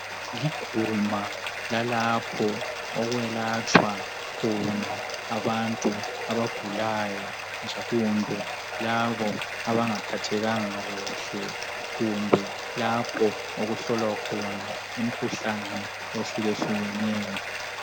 Liguma lalapho okwelatshwa khona abantu abagulayo kumbe labo abanga phathekanga kuhle .Kumbe lapho okuhlolwa khona imikhuhlane eyehluke hlukeneyo .